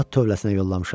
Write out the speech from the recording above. At tövləsinə yollamışam.